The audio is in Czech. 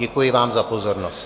Děkuji vám za pozornost.